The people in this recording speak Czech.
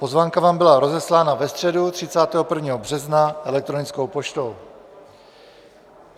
Pozvánka vám byla rozeslána ve středu 31. března elektronickou poštou.